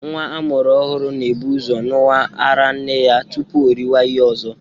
Nwa a mụrụ ọhụrụ na-ebu ụzọ ṅụwa ara nne ya tupu o riwe ihe ọzọ